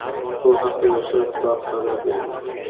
Bu haqda Yoshlar ittifoqi xabar berdi .